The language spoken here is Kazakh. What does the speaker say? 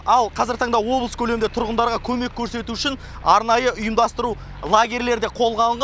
ал қазіргі таңда облыс көлемінде тұрғындарға көмек көрсету үшін арнайы ұйымдастыру лагерлері де қолға алынған